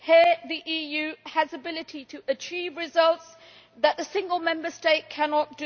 Here the EU has the ability to achieve results that the single Member State cannot.